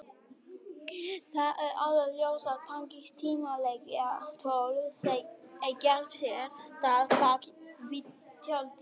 Það er alveg ljóst að þannig símtöl eiga sér stað bak við tjöldin.